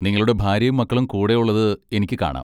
നിങ്ങളുടെ ഭാര്യയും മക്കളും കൂടെ ഉള്ളത് എനിക്ക് കാണാം.